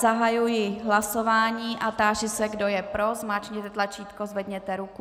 Zahajuji hlasování a táži se, kdo je pro, zmáčkněte tlačítko, zvedněte ruku.